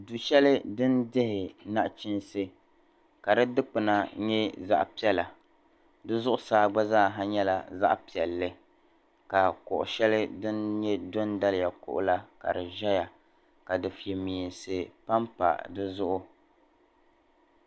Dushɛli din dihi naɣ'chinsi ka di dikpuna nyɛ zaɣ'piɛla di zuɣusaa gba zaaha nyɛla zaɣ'piɛlli ka kuɣu shɛli din nye dɔndaliya kuɣu la ka di ʒɛya ka dofemeensi pam pa di zuɣu.